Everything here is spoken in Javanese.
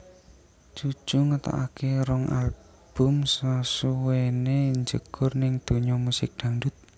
Cucu ngetokake rong album sasuwené njegur ning donya musik dangdut